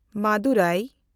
ᱢᱟᱫᱩᱨᱟᱭ